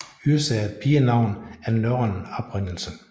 Yrsa er et pigenavn af norrøn oprindelse